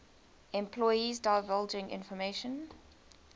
employees divulging information